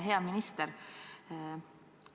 Hea minister!